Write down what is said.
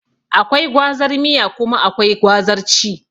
Akwai gwazar miya kuma akwai gwazar ci